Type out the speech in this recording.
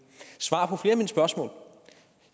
spørgsmål